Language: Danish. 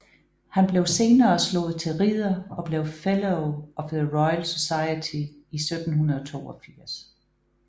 Han blev senere slået til ridder og blev Fellow of the Royal Society i 1782